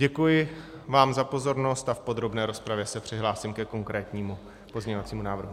Děkuji vám za pozornost a v podrobné rozpravě se přihlásím ke konkrétnímu pozměňovacímu návrhu.